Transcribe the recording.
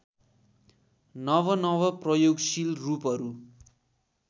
नवनव प्रयोगशील रूपहरू